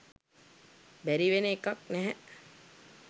බැරි වෙන එකක් නැහැ.